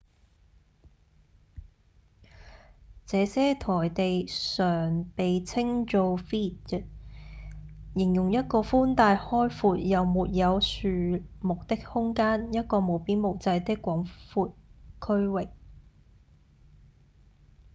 這些台地常被稱做「vidde」形容一個寬大開闊又沒有樹木的空間、一個無邊無際的廣闊區域